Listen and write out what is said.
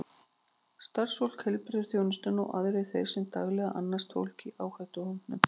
Starfsfólk heilbrigðisþjónustu og aðrir þeir sem daglega annast fólk í áhættuhópum.